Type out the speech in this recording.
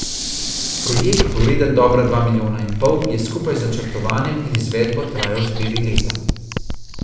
Projekt, vreden dobra dva milijona in pol, je skupaj z načrtovanjem in izvedbo trajal štiri leta.